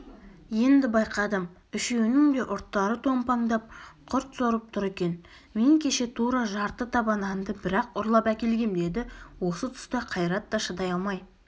енді байқадым үшеуінің де ұрттары томпаңдап құрт сорып тұр екен мен кеше тура жарты таба нанды бір-ақ ұрлап әкелгем деді осы тұста қайрат та шыдай алмай